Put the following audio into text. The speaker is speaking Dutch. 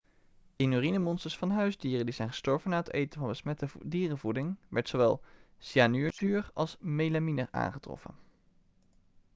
in urinemonsters van huisdieren die zijn gestorven na het eten van besmette dierenvoeding werd zowel cyaanuurzuur als melamine aangetroffen